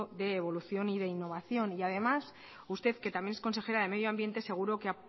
de evolución y de innovación y además usted que también es consejera de medio ambiente seguro que